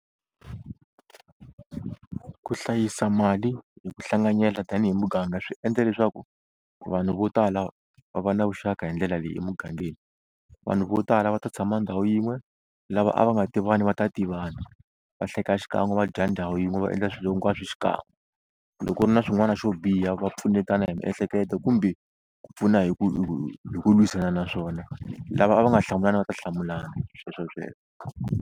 Ku hlayisa mali hi ku hlanganyela tanihi muganga swi endla leswaku vanhu vo tala va va na vuxaka hi ndlela leyi emugangeni vanhu vo tala va ta tshama ndhawu yin'we lava a va nga tivani va ta tivana va hleka xikan'we va dya ndhawu yin'we va endla swilo hinkwaswo xikan'we loko ku ri na swin'wana xo biha va pfunetana hi miehleketo kumbe ku pfuna hi ku hi ku lwisana na swona lava a va nga hlamulani va ta hlamulana, sweswo sweswo.